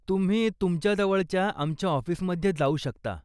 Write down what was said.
तुम्ही तुमच्या जवळच्या आमच्या ऑफिसमध्ये जाऊ शकता.